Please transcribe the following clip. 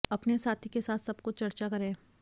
अपने साथी के साथ सब कुछ चर्चा करें